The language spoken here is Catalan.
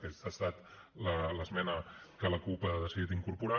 aquesta ha estat l’esmena que la cup ha decidit incorporar